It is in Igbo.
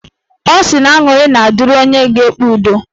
Ọ sị na aṅụrị ga-adịrị onye na-ekpe udo